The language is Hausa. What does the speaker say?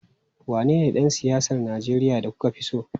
Wanene dan siyasar Najeriya da kuka fi so?